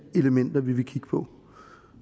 elementer vi vil kigge på